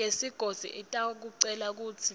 yesigodzi itakucela kutsi